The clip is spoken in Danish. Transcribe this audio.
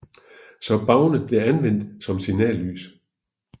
Så bavne blev anvendt som signallys